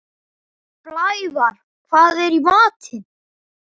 Blævar, hvað er í matinn?